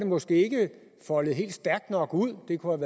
måske ikke foldet stærkt nok ud der kunne